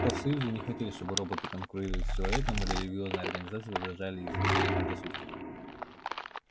профсоюзы не хотели чтобы роботы конкурировали с человеком религиозные организации возражали из-за своих предрассудков